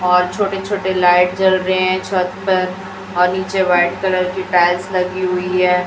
और छोटे छोटे लाइट जल रहे हैं छत पर और नीचे वाइट कलर की टाइल्स लगी हुई है।